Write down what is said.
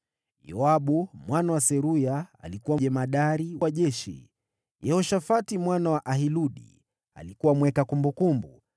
Yoabu mwana wa Seruya alikuwa jemadari wa jeshi; Yehoshafati mwana wa Ahiludi alikuwa mweka kumbukumbu;